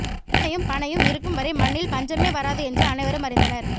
எருமையும் பனையும் இருக்கு வரை மண்ணில் பஞ்சமே வராது என்று அனைவரும் அறிந்தனர்